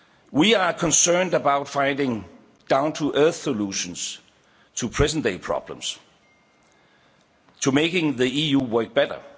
We are concerned about finding down to earth solutions to present day problems, to making the EU work better.